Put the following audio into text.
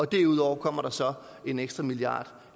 derudover kommer der så en ekstra milliard